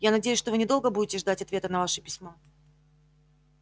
я надеюсь что вы недолго будете ждать ответа на ваше письмо